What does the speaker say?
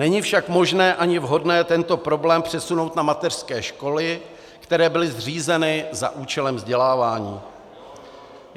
Není však možné ani vhodné tento problém přesunout na mateřské školy, které byly zřízeny za účelem vzdělávání.